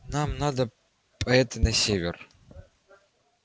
нам надо по этой на север